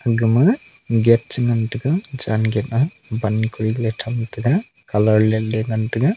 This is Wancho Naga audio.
agama gate chi ngan tega chen gate a ban kori tham tega colour let le ngan tega.